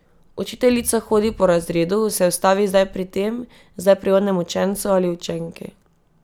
Učiteljica hodi po razredu, se ustavi zdaj pri tem, zdaj pri onem učencu ali učenki.